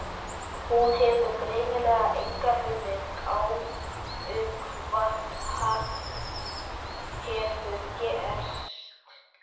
Þú hefur greinilega enga hugmynd um hvað hefur gerst.